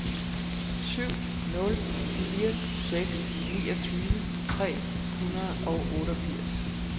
syv nul fire seks niogtyve tre hundrede og otteogfirs